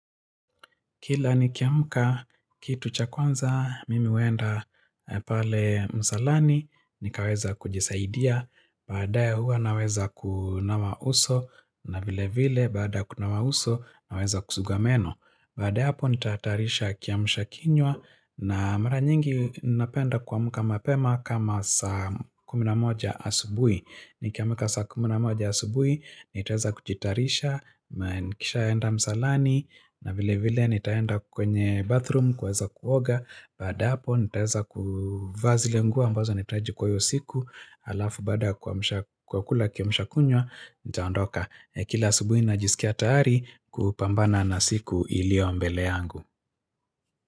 Kila nikiamka, kitu cha kwanza, mimi huenda, e pale msalani, nikaweza kujisaidia, baadaye huwa naweza ku nawa uso, na vile vile, baada ya kunawa uso, naweza kusugua meno. Baada ya hapo nitataarisha kiamsha kinywa na mara nyingi napenda kuamka mapema kama saa kumi na moja asubui. Nikiamka saa kumi na moja asubui, nitaweza kujitaarisha, mae nikishaenda msalani, na vile vile nitaenda kwenye bathroom kuweza kuoga. Baada ya hapo ntaweza ku vaa zile nguo ambazo nitaji kwayo siku, alafu baada ya kuamsha kwa kula kiamsha kunywa, nitaondoka. Kila asubuhi najisikia taari, kupambana na siku ilio mbele yangu.